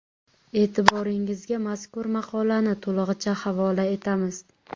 E’tiboringizga mazkur maqolani to‘lig‘icha havola etamiz.